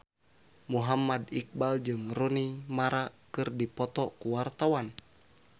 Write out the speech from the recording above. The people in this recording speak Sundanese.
Muhammad Iqbal jeung Rooney Mara keur dipoto ku wartawan